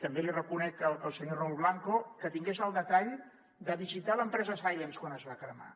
també li reconec al senyor raül blanco que tingués el detall de visitar l’empresa silence quan es va cremar